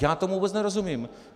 Já tomu vůbec nerozumím.